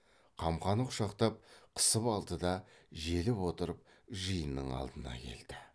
қамқаны құшақтап қысып алды да желіп отырып жиынның алдына келді